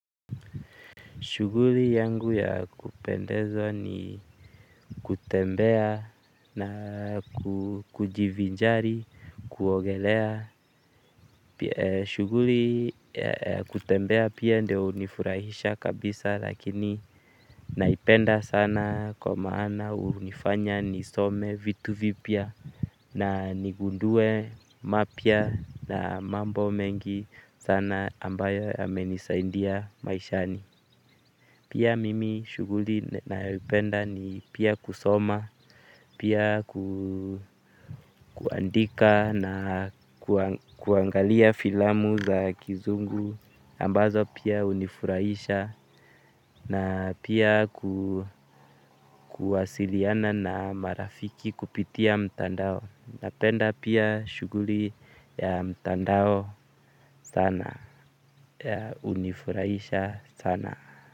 Shughuli yangu ya kupendeza ni kutembea na kujivinjari, kuogelea. Shughuli ya kutembea pia ndio unifurahisha kabisa lakini naipenda sana kwa maana unifanya nisome vitu vipya. Na nigundue mapya na mambo mengi sana ambayo yamenisaidia maishani. Pia mimi shughuli ninayoipenda ni pia kusoma pia kuandika na kuangalia filamu za kizungu ambazo pia hunifurahisha na pia kuwasiliana na marafiki kupitia mtandao. Napenda pia shuguli ya mtandao sana hunifurahisha sana.